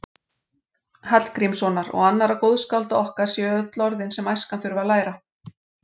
Hallgrímssonar og annarra góðskálda okkar séu öll orðin sem æskan þurfi að læra.